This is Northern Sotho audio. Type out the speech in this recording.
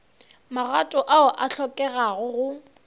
magato ao a hlokegago go